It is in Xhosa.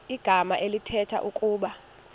igama elithetha ukuba